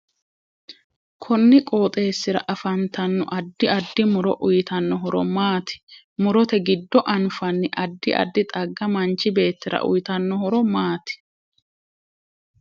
Konni qooxeesira afantanno addi addi muro uyiitanno horo maati murote giddo anfanni addi addi xagga machi beetira uyiitano horo maati